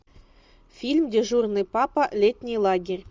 фильм дежурный папа летний лагерь